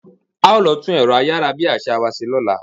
A ó lọ tún ẹ̀rọ ayárabíàṣá wa ṣe lọ́la.